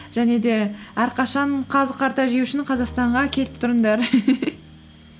және де әрқашан қазы қарта жеу үшін қазақстанға келіп тұрыңдар